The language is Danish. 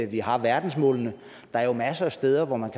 vi har verdensmålene der er jo masser af steder hvor man